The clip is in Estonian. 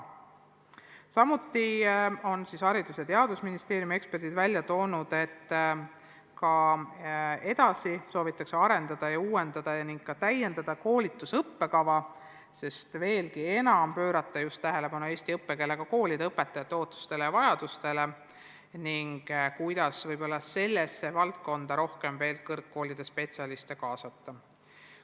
Samuti on Haridus- ja Teadusministeeriumi eksperdid välja toonud, et ka edaspidi soovitakse arendada ja uuendada ning täiendada koolituse õppekava, sest veelgi enam on vaja pöörata selle õppega seoses tähelepanu just eesti koolide õpetajate ootustele ja vajadustele ning mõelda, kuidas sellesse valdkonda rohkem kõrgkoolide spetsialiste kaasata.